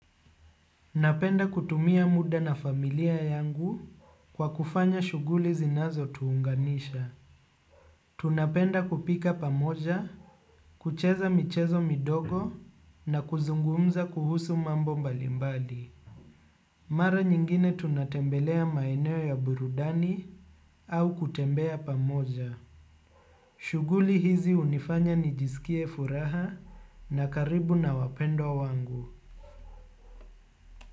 Napenda kutumia muda na familia yangu kwa kufanya shuguli zinazo tuunganisha. Tunapenda kupika pamoja. Kucheza michezo midogo na kuzungumza kuhusu mambo mbali mbali. Mara nyingine tunatembelea maeneo ya burudani au kutembea pamoja. Shuguli hizi unifanya nijisikie furaha na karibu na wapendwa wangu.